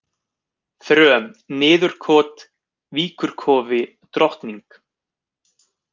Þröm, Niðurkot, Víkurkofi, Drottning